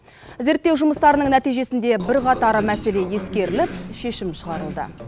зерттеу жұмыстарының нәтижесінде бірқатар мәселе ескеріліп шешім шығарылды